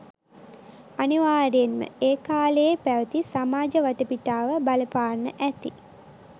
අනිවාර්යෙන්ම ඒ කාලයේ පැවති සමාජ වටපිටාව බලපාන්න ඇති